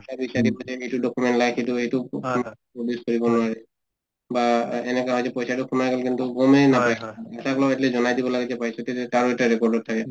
এইটো document লাগে কিন্তু এইটো বা